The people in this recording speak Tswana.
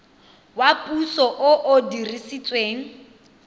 wa puso o o dirisetswang